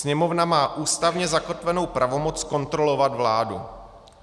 Sněmovna má ústavně zakotvenou pravomoc kontrolovat vládu.